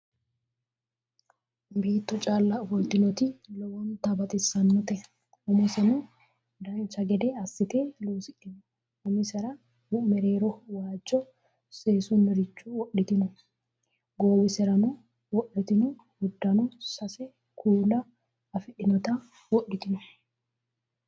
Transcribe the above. Beetto calla ofoltinoti lowonta baxissanote. Umoseno dancha gede assite loosidhino. Umisera mereeroho waajjo seesunniricho wodhitino. Goowiserano wodhitino. Uddanono sase kuula afidhinota wodhitino.